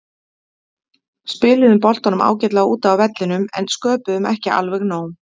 Spiluðum boltanum ágætlega úti á vellinum en sköpuðum ekki alveg nóg.